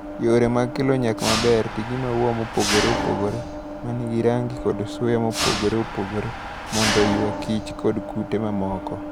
Yore mag kelo nyak maber: Ti gi maua mopogore opogore ma nigi rangi kod suya mopogore opogore mondo oywaich kod kute mamoko.